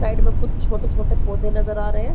Side में कुछ छोटे - छोटे पौधे नज़र आ रहे है।